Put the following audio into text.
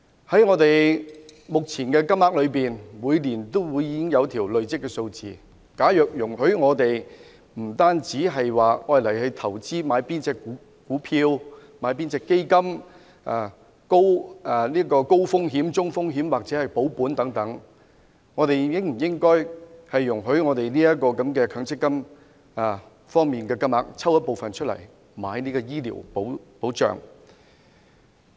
在目前的強積金中，每年都會累積一定的金額，除了容許我們投資股票、基金，選擇高風險、中風險或保本投資之外，應否容許我們運用部分強積金購買醫療保險？